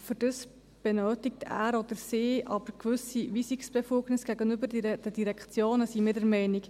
Dafür benötigt er oder sie aber gewisse Befugnisse gegenüber den Direktionen, so sind wir der Meinung.